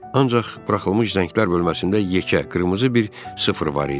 Ancaq buraxılmış zənglər bölməsində yekə qırmızı bir sıfır var idi.